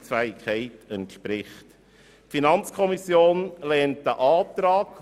Das entspricht nicht der wirtschaftlichen Leistungsfähigkeit.